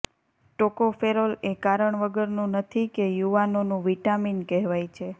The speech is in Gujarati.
ટોકોફેરોલ એ કારણ વગરનું નથી કે યુવાનોનું વિટામિન કહેવાય છે